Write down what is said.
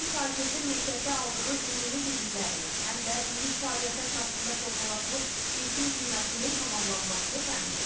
Həm şagirdin məktəbdə aldığı ümumi biliklərinin, həm də illik fəaliyyətə əsasında formalaşmış yekun qiymətinin tamamlanmasını təmin edir.